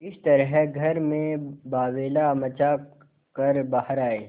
इस तरह घर में बावैला मचा कर बाहर आये